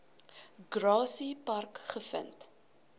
grassy park gevind